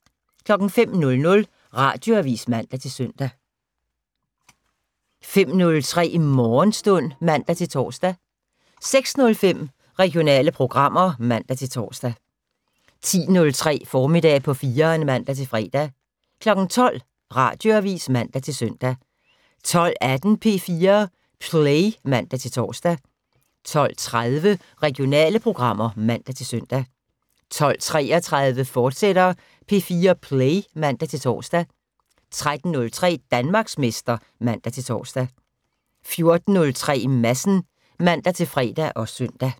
05:00: Radioavis (man-søn) 05:03: Morgenstund (man-tor) 06:05: Regionale programmer (man-tor) 10:03: Formiddag på 4'eren (man-fre) 12:00: Radioavis (man-søn) 12:18: P4 Play (man-tor) 12:30: Regionale programmer (man-søn) 12:33: P4 Play, fortsat (man-tor) 13:03: Danmarksmester (man-tor) 14:03: Madsen (man-fre og søn)